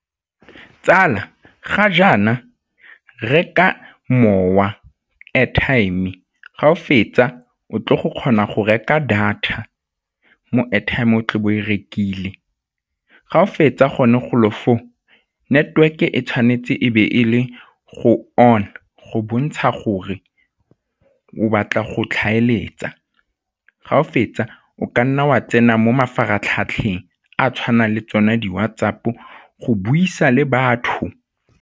Tsala, ga jaana reka mowa airtime ga o fetsa o tlo go kgona go reka data mo airtime o tle be o e rekile. Ga o fetsa gone foo network-e e tshwanetse e be e le go on go bontsha gore o batla go tlhaeletsa, ga o fetsa o kanna wa tsena mo mafaratlhatlheng a tshwanang le tsone di-WhatsApp-o go buisa le batho.